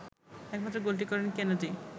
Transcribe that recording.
একমাত্র গোলটি করেন কেনেডি